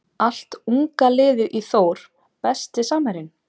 Allt unga liðið í Þór Besti samherjinn?